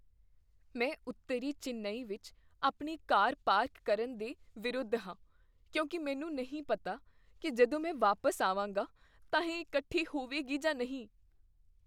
ਮੈਂ ਉੱਤਰੀ ਚੇਨੱਈ ਵਿੱਚ ਆਪਣੀ ਕਾਰ ਪਾਰਕ ਕਰਨ ਦੇ ਵਿਰੁੱਧ ਹਾਂ ਕਿਉਂਕਿ ਮੈਨੂੰ ਨਹੀਂ ਪਤਾ ਕੀ ਜਦੋਂ ਮੈਂ ਵਾਪਸ ਆਵਾਂਗਾ ਤਾਂ ਇਹ ਇਕੱਠੀ ਹੋਵੇਗੀ ਜਾਂ ਨਹੀਂ।